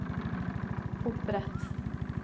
opprett